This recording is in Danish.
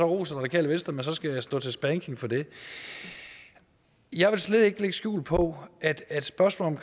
rost radikale venstre så bagefter skal stå til spanking for det jeg vil slet ikke lægge skjul på at at spørgsmålet